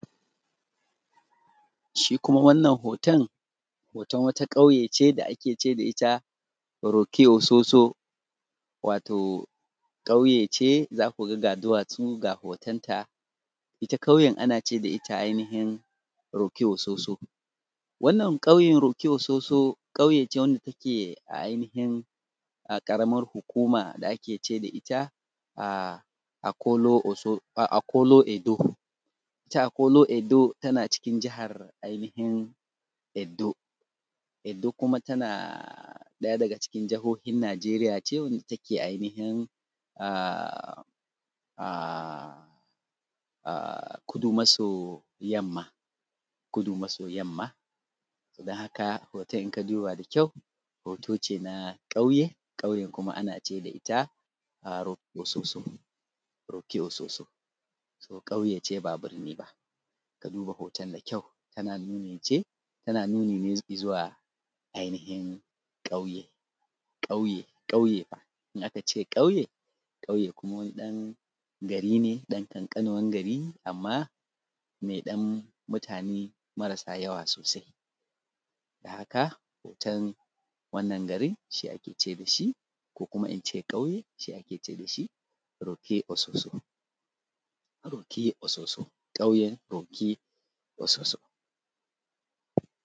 shi kuma wannan hoton hoton wata ƙauye ce da ake da ita rokiososo wato ƙauye ce za ku ga ga duwatsu ga hotonta ita ƙauyen ana ce da ita ainihin rokiososo wannan ƙauyen rokiososo ƙauye ce wanda take a ainihin a ƙaramar hukuma da ake ce da ita akolo-edo ita akolo-edo tana cikin jihar ainihin edo edo kuma tana ɗaya daga cikin jihohin nigeria ce wadda take ainihin kudu maso yamma kudu maso yamma don haka hoton in ka duba da kyau hoto ce na ƙauye ƙauyen kuma ana ji da ita a rokiososo rokiososo sunan ƙauye ce ba birni ba ka duba hoton da kyau tana nuni ce tana nuni ne i zuwa ainihin ƙauye ƙauye ƙauye fa in aka ce ƙauye ƙauye kuma wani ɗan gari ne ɗan ƙanƙanuwan gari amma mai ɗan mutane marasa yawa sosai don haka hoton wannan garin shi ake ce mishi ko kuma in ce ƙauye shi ake ce da shi rokiososo rokiososo ƙauyen rokiososo